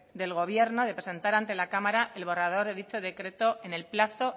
del gobierno de presentar ante la cámara el borrador de dicho decreto en el plazo